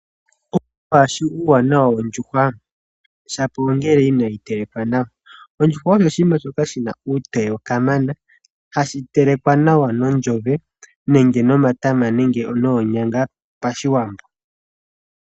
Owu li waa shi uuwanawa wondjuhwa, shapo ongele inoyi teleka nawa. Ondjuhwa osho oshinima shoka shi na uutoye kamana, ha shi telekwa nawa nondjove nenge nomatama nenge noonyanga pashiwambo.